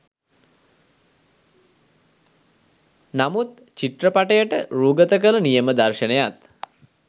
නමුත් චිත්‍රපටයට රූගත කළ නියම දර්ශනයත්